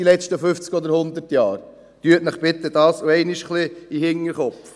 – Tun Sie dies bitte auch einmal ein bisschen in den Hinterkopf.